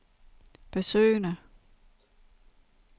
besøgende